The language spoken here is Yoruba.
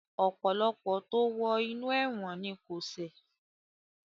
Ọ̀pọ̀lọpọ̀ tó wo inú ẹ̀wọ̀n ni kò ṣẹ̀